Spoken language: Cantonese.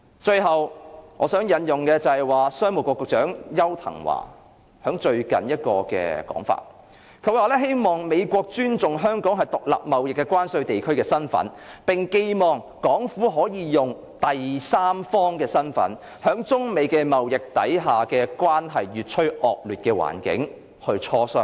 最後，我想引用商務及經濟發展局局長邱騰華最近的說法。他說希望美國尊重香港是獨立貿易關稅地區的身份，並寄望港府能以第三方的身份，在中美貿易關係越趨惡劣的環境下參與磋商。